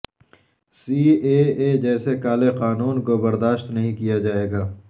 C A A جیسے کالے قانون کو برداشت نہیں کیا جائیگا